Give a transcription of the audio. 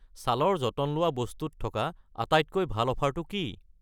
ছালৰ যতন লোৱা বস্তু ত থকা আটাইতকৈ ভাল অফাৰটো কি?